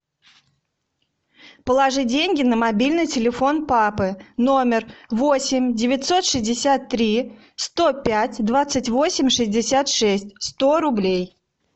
положи деньги на мобильный телефон папы номер восемь девятьсот шестьдесят три сто пять двадцать восемь шестьдесят шесть сто рублей